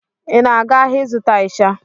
Ị na-aga ahịa ịzụta ịsha?